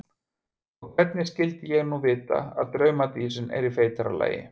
Og hvernig skyldi ég nú vita að draumadísin er í feitara lagi?